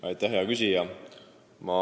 Aitäh, hea küsija!